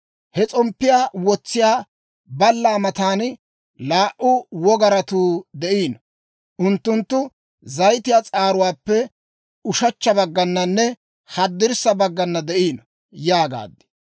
He s'omppiyaa wotsiyaa ballaa matan laa"u wogaratuu de'iino; unttunttu zayitiyaa s'aaruwaappe ushechcha baggananne haddirssa baggana de'iino» yaagaad.